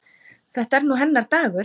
Þetta er nú hennar dagur.